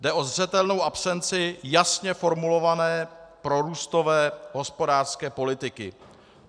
Jde o zřetelnou absenci jasně formulované prorůstové hospodářské politiky.